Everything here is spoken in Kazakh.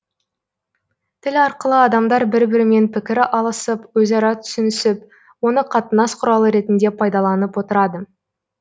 тіл арқылы адамдар бір бірімен пікір алысып өзара түсінісіп оны қатынас құралы ретінде пайдаланып отырады